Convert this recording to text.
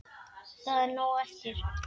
Það er nóg eftir.